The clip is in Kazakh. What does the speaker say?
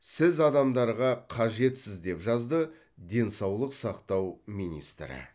сіз адамдарға қажетсіз деп жазды денсаулық сақтау министрі